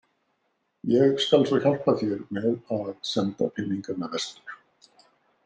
Ég skal svo hjálpa þér með að senda peningana vestur.